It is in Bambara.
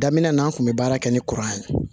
Daminɛ na an kun bɛ baara kɛ ni kuran ye